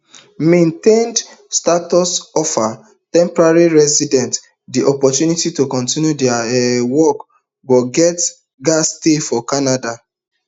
maintained status offer temporary residents di opportunity to continue dia um work but get gatz stay for canada